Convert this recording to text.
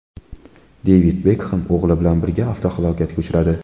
Devid Bekhem o‘g‘li bilan birga avtohalokatga uchradi.